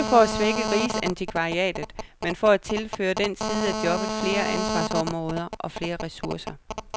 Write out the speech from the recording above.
Det er ikke for at svække rigsantikvariatet, men for at tilføre den side af jobbet flere ansvarsområder og flere ressourcer.